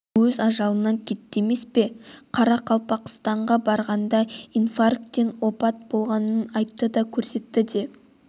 өз ажалынан кетті емес пе қарақалпақстанға барғанда инфаркттан опат болғанын айтты да көрсетті де